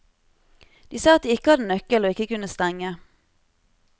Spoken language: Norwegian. De sa at de ikke hadde nøkkel og ikke kunne stenge.